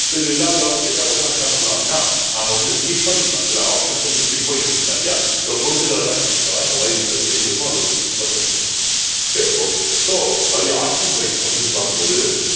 so இது இல்லாத ஏதாவது கேட்டா கூட நம்ம என்ன பண்ணலாம் அப்படின்னா நம்ம வந்து skip பண்ணிக்கலாம் சில option skip பண்ணி எடுத்துக்கலாம் இல்லையா சில பொருத்துக்க எல்லாம் என்ன பண்ணிக்கலாம் இந்த மாதிரி சில விஷயங்கள் இருக்கும் அதை வச்சு skip பண்ணி எடுத்துக்கலாம் சரி okay so அவருடைய ஆட்சி முறை அப்பிடி இப்பிடி பாக்கும்போது